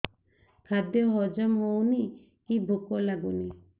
ଖାଦ୍ୟ ହଜମ ହଉନି କି ଭୋକ ଲାଗୁନି